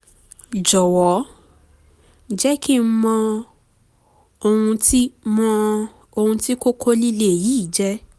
jọ̀wọ́ jẹ́ kí n mọ ohun tí mọ ohun tí kókó líle yìí jẹ́